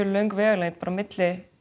löng vegalengd milli